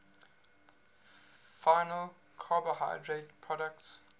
final carbohydrate products